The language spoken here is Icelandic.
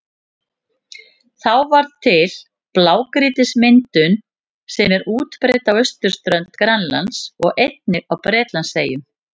Þá varð til blágrýtismyndunin sem er útbreidd á austurströnd Grænlands og einnig á Bretlandseyjum.